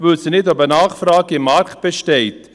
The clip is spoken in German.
Wir wissen nicht, ob eine Nachfrage auf dem Markt besteht.